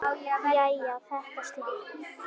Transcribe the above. Jæja, þetta slapp.